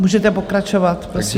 Můžete pokračovat, prosím.